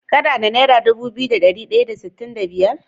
Kana da naira Dubu biyu da dari daya da sitin da biyar?